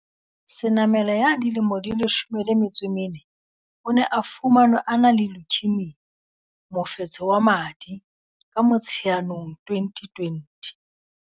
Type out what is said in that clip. Senamela ya dilemo di 14, o ne a fumanwe a na le leukaemia mofetshe wa madi, ka Motsheanong 2020.